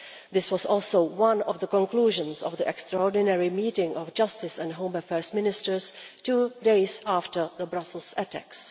This was also one of the conclusions of the extraordinary meeting of justice and home affairs ministers two days after the Brussels attacks.